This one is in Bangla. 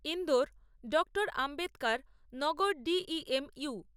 Indore doctor Ambedkar Nagar D E M you